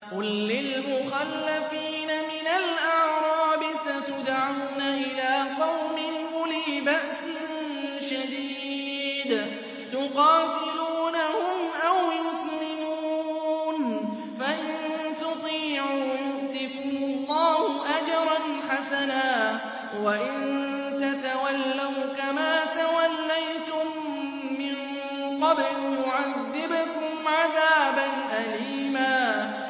قُل لِّلْمُخَلَّفِينَ مِنَ الْأَعْرَابِ سَتُدْعَوْنَ إِلَىٰ قَوْمٍ أُولِي بَأْسٍ شَدِيدٍ تُقَاتِلُونَهُمْ أَوْ يُسْلِمُونَ ۖ فَإِن تُطِيعُوا يُؤْتِكُمُ اللَّهُ أَجْرًا حَسَنًا ۖ وَإِن تَتَوَلَّوْا كَمَا تَوَلَّيْتُم مِّن قَبْلُ يُعَذِّبْكُمْ عَذَابًا أَلِيمًا